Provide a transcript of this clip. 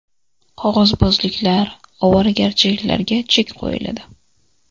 Qog‘ozbozliklar, ovoragarchiliklarga chek qo‘yiladi.